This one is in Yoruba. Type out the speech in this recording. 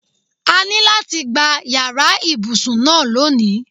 A ní láti gba yàrá ibùsùn náà loni.